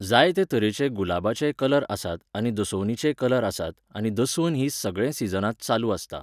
जाय ते तरेचे गुलाबाचेय कलर आसात आनी दसवतीचेय कलर आसात आनी दसवन ही सगळे सिजनांत चालू आसता.